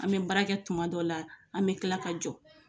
An bɛ barakɛ tuma dɔ la an bɛ tila ka jɔ.